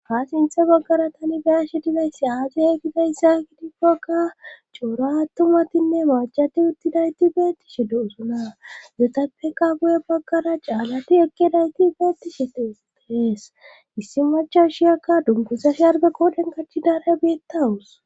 ha sinthe baggara tani beyashi dizayssi aaze gidayssa gidikkoka coora attumatinne maacati uttidayti beettishi de'osna izetappeka guye baggara caalati ekkedayti beettishe detees issi macashiyakka dunguza sharbe qoodhen qachidare biittawus.